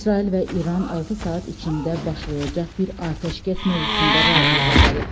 İsrail və İran altı saat içində başlayacaq bir atəşkəs mövzusunda razılığa gəlib.